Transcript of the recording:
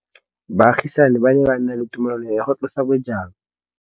Baagisani ba ne ba na le tumalanô ya go tlosa bojang.